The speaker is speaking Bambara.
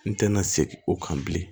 N tɛna segin o kan bilen